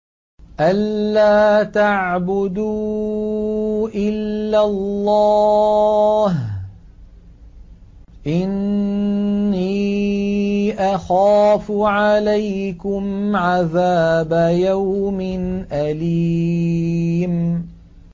أَن لَّا تَعْبُدُوا إِلَّا اللَّهَ ۖ إِنِّي أَخَافُ عَلَيْكُمْ عَذَابَ يَوْمٍ أَلِيمٍ